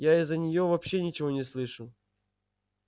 я из-за неё вообще ничего не слышу